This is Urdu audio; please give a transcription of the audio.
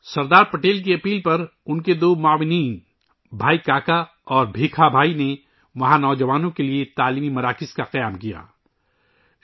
سردار پٹیل کے اصرار پر ان کے دو ساتھیوں بھائی کاکا اور بھیکا بھائی نے ، وہاں نوجوانوں کے لئے تعلیمی مراکز قائم کئے تھے